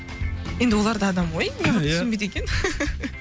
енді олар да адам ғой ия неғып түсінбейді екен